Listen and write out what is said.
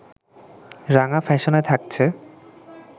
রাঙা ফ্যাশনে থাকছে